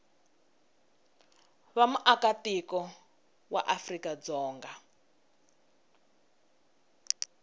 va muakatiko wa afrika dzonga